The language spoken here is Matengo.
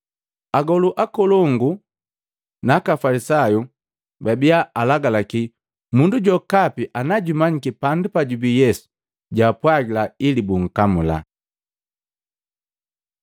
Agolu akolongu na aka Afalisayu babia alagalaki mundu jokapi na jumanyiki pandu pajubi Yesu jwaapwagila ili bunkamula.